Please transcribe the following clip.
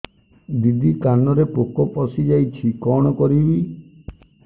ଦିଦି କାନରେ ପୋକ ପଶିଯାଇଛି କଣ କରିଵି